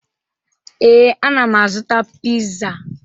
Ee, ana m azụta pizza.